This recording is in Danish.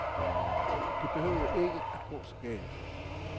Det behøvede ikke at gå så galt.